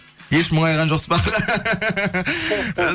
еш мұңайған жоқсыз ба аға